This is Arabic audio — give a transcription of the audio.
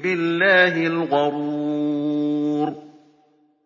بِاللَّهِ الْغَرُورُ